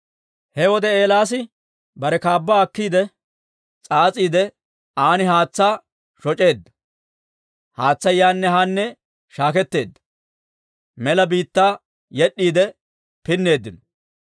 He wode Eelaasi bare kaabbaa akkiide s'aas'iide, aan haatsaa shoc'eedda. Haatsay yaanne haanne shaakketeedda; mela biittaa yed'd'iide pinneeddino.